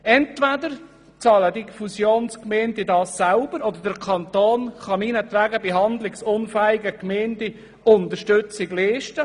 Entweder bezahlen diese Fusionsgemeinden das selber, oder der Kanton kann meinetwegen bei handlungsunfähigen Gemeinden Unterstützung leisten.